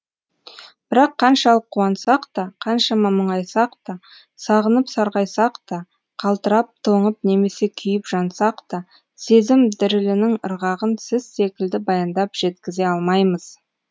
бірақ қаншалық қуансақ та қаншама мұңайсақ та сағынып сарғайсақ та қалтырап тоңып немесе күйіп жансақ та сезім дірілінің ырғағын сіз секілді баяндап жеткізе алмаймыз